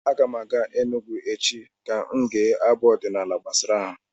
Aga m aga Enugwu echi ka m gee abụ ọdịnaala gbasara ha.